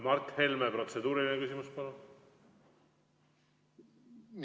Mart Helme, protseduuriline küsimus, palun!